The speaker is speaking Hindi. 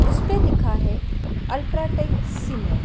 उस पे लिखा है अल्ट्रा टेक सीमेंट ।